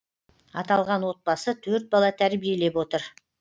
аталған отбасы төрт бала тәрбиелеп отыр